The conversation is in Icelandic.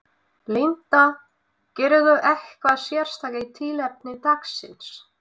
Linda: Gerirðu eitthvað sérstakt í tilefni dagsins?